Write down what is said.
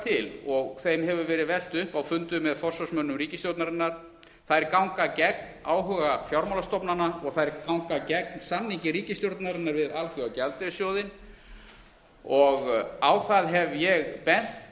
til og þeim hefur verið velt upp á fundum með forsvarsmönnum ríkisstjórnarinnar þær ganga gegn áhuga fjármálastofnana og þær ganga gegn samningi ríkisstjórnarinnar við alþjóðagjaldeyrissjóðinn og á það hef ég bent